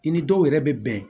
I ni dɔw yɛrɛ bɛ bɛn